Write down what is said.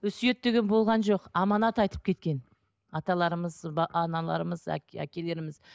өсиет деген болған жоқ аманат айтып кеткен аталарымыз аналарымыз әкелеріміз